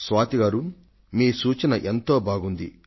స్వాతి గారూ మీ సూచన ఎంతో బాగుంది